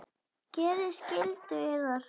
Gerið skyldu yðar!